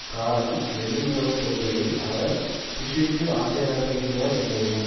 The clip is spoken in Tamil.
காரணம் வெளியுறவுக்கொள்கையில் அவர் புஷ்ஷிற்கு ஆசிரியராக இருந்தார் என்பதுதான்